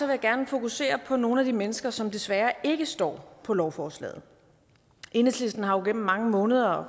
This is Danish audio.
jeg gerne fokusere på nogle af de mennesker som desværre ikke står på lovforslaget enhedslisten har jo gennem mange måneder og